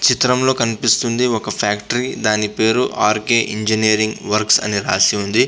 చిత్రంలో కనిపిస్తుంది ఒక ఫ్యాక్టరీ దాని పేరు ఆర్ కె ఇంజనీరింగ్ వర్క్స్ అని రాసి ఉంది.